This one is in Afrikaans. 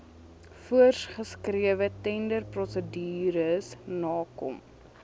voorsgeskrewe tenderprosedures nakom